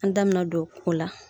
An da mi na don o la.